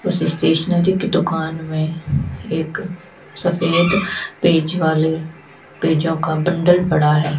उस स्टेशनरी की दुकान में एक सफेद पेज वाले पेजों का बंडल पड़ा है।